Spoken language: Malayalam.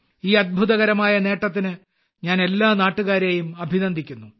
ഈ അത്ഭുതകരമായ നേട്ടത്തിന് ഞാൻ എല്ലാ നാട്ടുകാരെയും അഭിനന്ദിക്കുന്നു